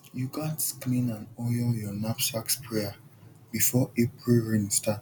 you gats clean and oil your knapsack sprayer before april rain start